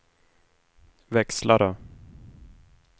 växlare